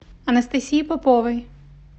анастасии поповой